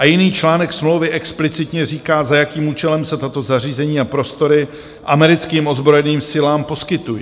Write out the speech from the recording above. A jiný článek smlouvy explicitně říká, za jakým účelem se tato zařízení a prostory americkým ozbrojeným silám poskytují.